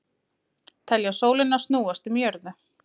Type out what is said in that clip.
Telja sólina snúast um jörðu